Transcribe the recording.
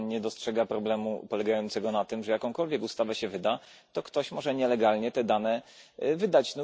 Czy Pan nie dostrzega problemu polegającego na tym, że jakąkolwiek ustawę się wyda, to ktoś może nielegalnie te dane wydać?